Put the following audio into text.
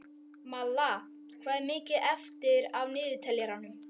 Malla, hvað er mikið eftir af niðurteljaranum?